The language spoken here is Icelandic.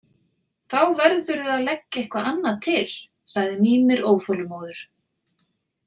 Þá verðurðu að leggja eitthvað annað til, sagði Mímir óþolinmóður.